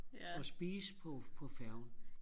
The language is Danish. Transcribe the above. og spise på på færgen